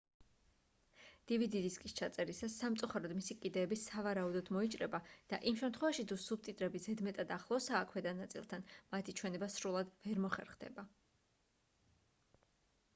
dvd დისკის ჩაწერისას სამწუხაროდ მისი კიდეები სავარაუდოდ მოიჭრება და იმ შემთხვევაში თუ სუბტიტრები ზედმეტად ახლოსაა ქვედა ნაწილთან მათი ჩვენება სრულად ვერ მოხერხდება